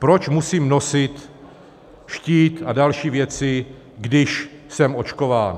Proč musím nosit štít a další věci, když jsem očkován?